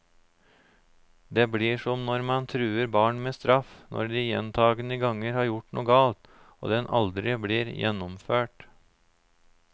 Det blir som når man truer barn med straff når de gjentagende ganger har gjort noe galt, og den aldri blir gjennomført.